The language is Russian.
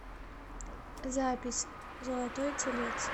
запись золотой телец